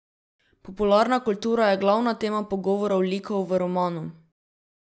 Popularna kultura je glavna tema pogovorov likov v romanu.